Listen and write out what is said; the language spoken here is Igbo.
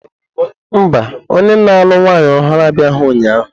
Mba, onye na-alụ nwanyị ọhụrụ abịaghị ụnyahụ.